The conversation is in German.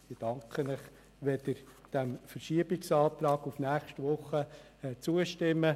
Ich danke Ihnen, wenn Sie dem Antrag auf Verschiebung auf nächste Woche zustimmen.